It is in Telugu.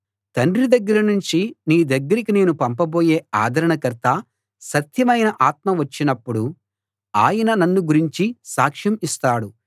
తండ్రి దగ్గర నుంచి మీ దగ్గరికి నేను పంపబోయే ఆదరణకర్త సత్యమైన ఆత్మ వచ్చినపుడు ఆయన నన్ను గురించి సాక్ష్యం ఇస్తాడు